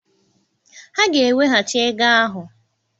Ha ga-eweghachi ego ahụ.